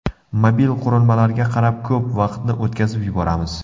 Mobil qurilmalarga qarab, ko‘p vaqtni o‘tkazib yuboramiz.